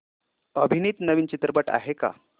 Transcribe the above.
अभिनीत नवीन चित्रपट आहे का